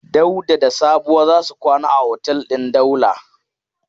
Dauda da Sabuwa za su kwana a otel din Daula.